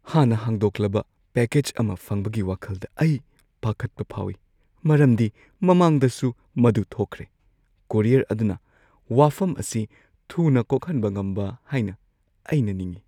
ꯍꯥꯟꯅ ꯍꯥꯡꯗꯣꯛꯂꯕ ꯄꯦꯀꯦꯖ ꯑꯃ ꯐꯪꯕꯒꯤ ꯋꯥꯈꯜꯗ ꯑꯩ ꯄꯥꯈꯠꯄ ꯐꯥꯎꯏ ꯃꯔꯝꯗꯤ ꯃꯃꯥꯡꯗꯁꯨ ꯃꯗꯨ ꯊꯣꯛꯈ꯭ꯔꯦ; ꯀꯣꯔꯤꯌꯔ ꯑꯗꯨꯅ ꯋꯥꯐꯝ ꯑꯁꯤ ꯊꯨꯅ ꯀꯣꯛꯍꯟꯕ ꯉꯝꯕ ꯍꯥꯏꯅ ꯑꯩꯅ ꯅꯤꯡꯏ꯫